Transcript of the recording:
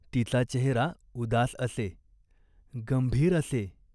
तिचा चेहरा उदास असे, गंभीर असे.